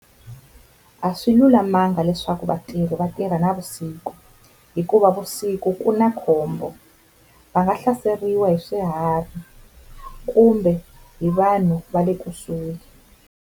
A swi lulamanga leswaku vatirhi vatirha navusiku hikuva vusiku ku na khombo va nga hlaseriwa hi swiharhi kumbe hi vanhu va le kusuhi.